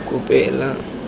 kopela